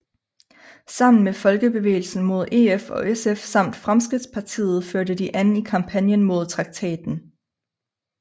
Sammen med Folkebevægelsen mod EF og SF samt Fremskridtspartiet førte de an i kampagnen mod traktaten